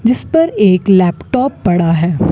जिस पर एक लैपटॉप पड़ा है।